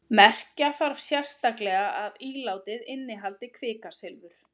merkja þarf sérstaklega að ílátið innihaldi kvikasilfur